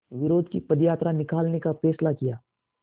विरोध की पदयात्रा निकालने का फ़ैसला किया